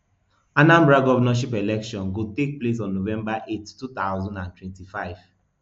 anambra govnorship election go take place on november eight two thousand and twenty-five